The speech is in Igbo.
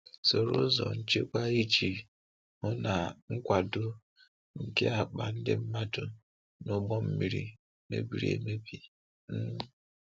Soro ụzọ nchekwa iji hụ na nkwàdò nke akpa, ndị mmadụ, na ụgbọ mmiri mebiri emebi. um